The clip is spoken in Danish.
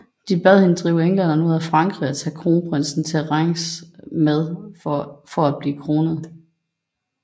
De bad hende drive englænderne ud af Frankrig og tage kronprinsen til Reims for at blive kronet